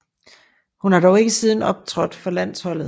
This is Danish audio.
Hun har dog ikke siden optrådt for landsholdet